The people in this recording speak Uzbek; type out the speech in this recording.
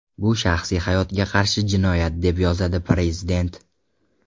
Bu shaxsiy hayotga qarshi jinoyat”, deb yozadi prezident.